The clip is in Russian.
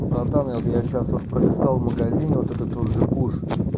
братан я вот я сейчас вот пролистал в магазине вот это тот же куш